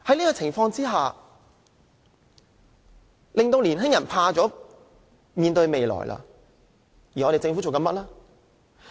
這景況令年輕人害怕面對未來，而政府做了甚麼呢？